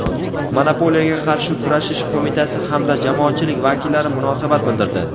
Monopoliyaga qarshi kurashish qo‘mitasi hamda jamoatchilik vakillari munosabat bildirdi.